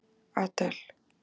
Adel